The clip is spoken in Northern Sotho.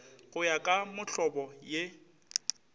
go ya ka mohlobo ye